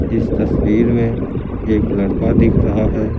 इस तस्वीर में एक लड़का दिख रहा है।